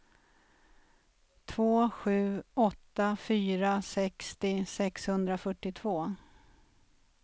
två sju åtta fyra sextio sexhundrafyrtiotvå